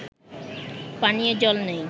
পানীয় জল নেই